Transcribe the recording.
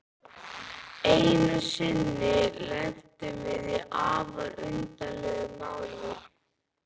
Einu sinni lentum við í afar undarlegu máli.